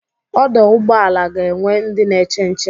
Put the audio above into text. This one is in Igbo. Ọdọ ụgbọala ga-enwe ndị n'eche nche